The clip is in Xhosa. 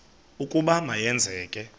ukuba ma yenzeke